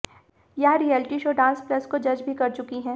वह reality show Dance Plus को जज भी कर चुकी हैं